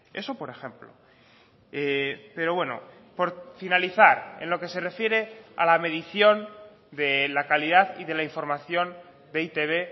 eso por ejemplo pero bueno por finalizar en lo que se refiere a la medición de la calidad y de la información de e i te be